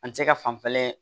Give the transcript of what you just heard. An tɛ se ka fanfɛla